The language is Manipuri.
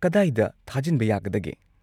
ꯀꯗꯥꯏꯗ ꯊꯥꯖꯤꯟꯕ ꯌꯥꯒꯗꯒꯦ?